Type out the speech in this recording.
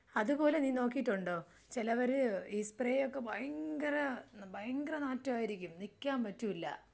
അതുപോലെ നീ നോക്കിയിട്ടുണ്ടോ? ചിലവരെ ഈ സ്പ്രേ ഒക്കെ ഭയങ്കര ഭയങ്കര നാറ്റായിരിക്കും നിക്കാൻ പറ്റൂല.